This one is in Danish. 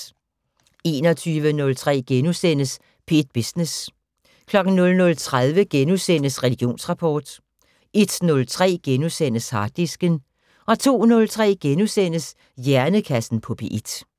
21:03: P1 Business * 00:30: Religionsrapport * 01:03: Harddisken * 02:03: Hjernekassen på P1 *